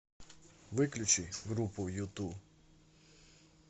выключи группу юту